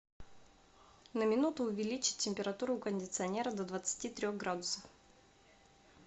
на минуту увеличить температуру у кондиционера до двадцати трех градусов